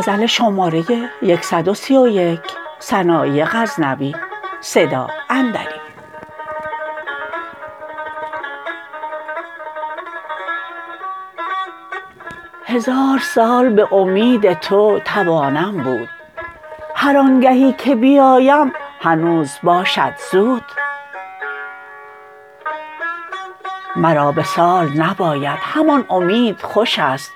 هزار سال به امید تو توانم بود هر آنگهی که بیایم هنوز باشد زود مرا وصال نباید همان امید خوشست